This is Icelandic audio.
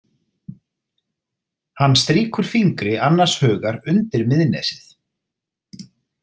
Hann strýkur fingri annars hugar undir miðnesið.